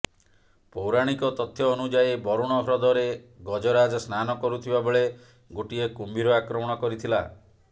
ପୌରାଣିକ ତଥ୍ୟ ଅନୁଯାୟୀ ବରୁଣ ହ୍ରଦରେ ଗଜରାଜ ସ୍ନାନ କରୁଥିବା ବେଳେ ଗୋଟିଏ କୁମ୍ଭୀର ଆକ୍ରମଣ କରିଥିଲା